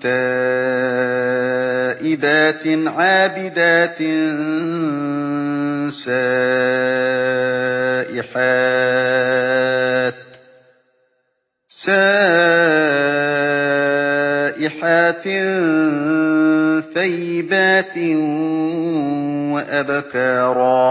تَائِبَاتٍ عَابِدَاتٍ سَائِحَاتٍ ثَيِّبَاتٍ وَأَبْكَارًا